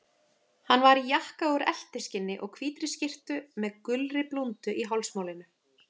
Hann var í jakka úr eltiskinni og hvítri skyrtu með gulri blúndu í hálsmálinu.